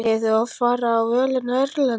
Hefur þú oft farið á völlinn erlendis?